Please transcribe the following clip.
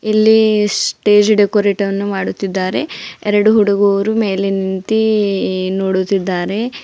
ಇಲ್ಲಿ ಸ್ಟೇಜ್ ಡೆಕೋರೇಟನ್ನು ಮಾಡುತ್ತಿದ್ದಾರೆ ಎರಡು ಹುಡುಗರು ಮೇಲೆ ನಿಂತಿ ನೋಡುತ್ತಿದ್ದಾರೆ.